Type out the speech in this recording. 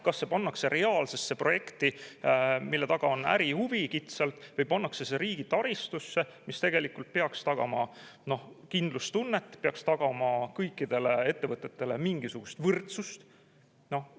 Kas see pannakse reaalsesse projekti, mille taga on kitsalt ärihuvi, või pannakse see riigi taristusse, mis tegelikult peaks tagama kindlustunnet, peaks tagama kõikidele ettevõtetele mingisuguse võrdsuse?